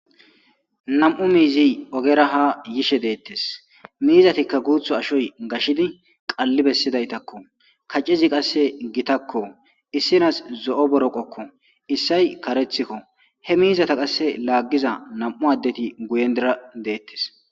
Nam'u mizi ogera ha yishe detes mizatikka guthi ashoy gashidi qali besidaysakko kac'ezi qase gitakko issina zo'o boroqokko isay karethiko he mizata qase lagiza nam'u adeti guyendira detes.